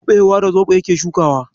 Kuɓewa da zoɓo yake shukawa.